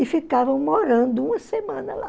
E ficavam morando uma semana lá.